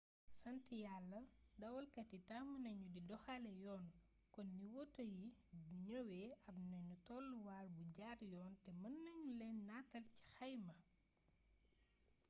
sant yalla dawalkat yi tàmm nañu di doxalee yoon kon ni woto yi di ñëwee ab nanu tolluwaay bu jaar yoon te mën nanu leen nataal ci xayma